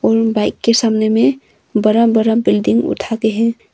और बाइक के सामने में बड़ा बड़ा बिल्डिंग उठा के है।